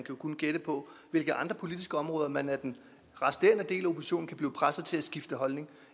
jo kun gætte på hvilke andre politiske områder man af den resterende del af oppositionen kan blive presset til at skifte holdning